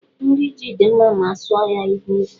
Nri ji dị mma ma a suọ ya n'ikwe